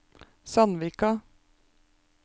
Sandvika